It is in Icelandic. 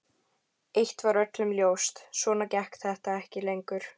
Eitt var öllum ljóst: Svona gekk þetta ekki lengur.